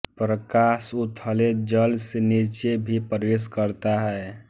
प्रकाश उथले जल से नीचे भी प्रवेश करता है